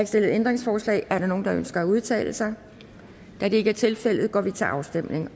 stillet ændringsforslag er der nogen der ønsker at udtale sig da det ikke er tilfældet går vi til afstemning